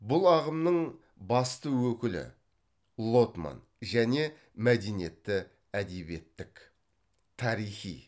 бұл ағымның басты өкілі лотман және мәдениетті әдебиеттік тарихи